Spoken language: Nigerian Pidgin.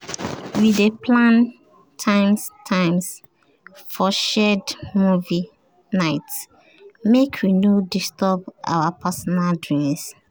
we dey plan times times for shared movie nights make we no disturb our personal doings